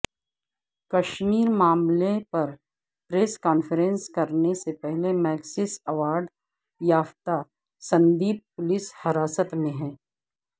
کشمیر معاملہ پر press conference کرنے سے پہلے مگیسیسے ایوارڈ یافتہ سندیپ پولس حراست میں